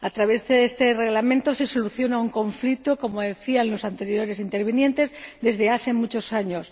A través de este Reglamento se soluciona un conflicto, como decían los anteriores intervinientes, de muchos años.